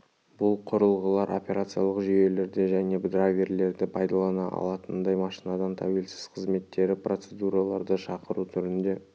бұл құрылғылар операциялық жүйелерді және драйверлерді пайдалана алатындай машинадан тәуелсіз қызметтері процедураларды шақыру түрінде